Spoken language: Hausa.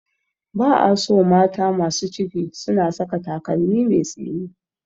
Ba a so mata masu ciki suna saka takalmi mai tsini.